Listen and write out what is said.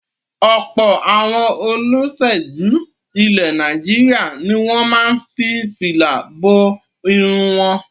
Ọ̀pọ̀ àwọn olóṣèlú ilẹ̀ Nàìjíríà ni ó máa ń fi fìlà bo irun wọn.